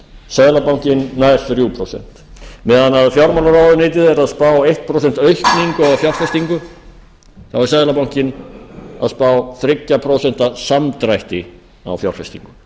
seðlabankinn nær þrjú prósent meðan fjármálaráðuneytið er að spá eitt prósent aukningu á fjárfestingu þá er seðlabankinn að spá þrjú prósent samdrætti á fjárfestingu